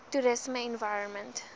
toerisme www environment